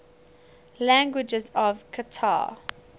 languages of qatar